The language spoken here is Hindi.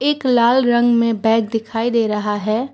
एक लाल रंग में बैग दिखाई दे रहा है।